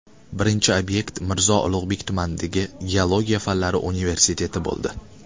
Birinchi obyekt Mirzo Ulug‘bek tumanidagi Geologiya fanlari universiteti bo‘ldi.